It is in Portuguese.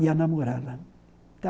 Ia namorar lá.